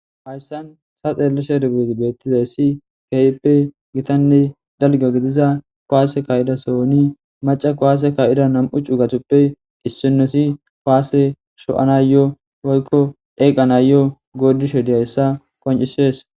Hayssan ta xeelleshe beettizayssi keehippe gitanne dalgga gidiza kuwaase kaa'ida sohoni macca kuwaase kaa'ida nam'u cugatuppe issinozi paase sho'anayyo woykko dheeqanayo goodishe diyayssa qonccisees.